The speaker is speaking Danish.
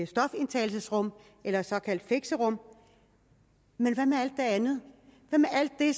stofindtagelsesrum eller et såkaldt fixerum men hvad med alt det andet hvad med alt det